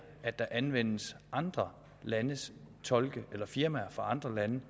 anvendes andre landes tolke eller firmaer fra andre lande